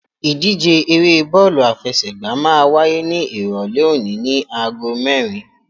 Ìdíje eré bọ́ọ̀lù àfẹsẹ̀gbá máa wáyé ní Ìrọ̀lẹ́ òní ní agogo mẹ́rin.